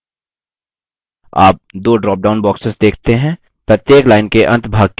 आप दो dropdown boxes देखते हैं प्रत्येक line के अंतभाग के लिए एक